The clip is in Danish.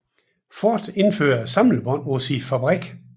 Ford indfører samlebånd på sin fabrik